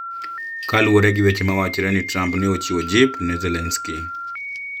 Kaluwore gi weche mawachre ni Trump ne ochiwo jip ne Zelenskiy